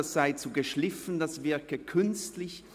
es sei zu geschliffen und wirke künstlich.